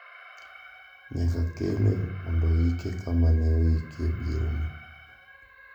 Nyaka kele mondo oike kama ne oike bierono.